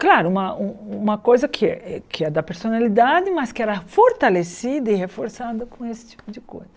Claro, uma uma coisa que que é da personalidade, mas que era fortalecida e reforçada com esse tipo de coisa.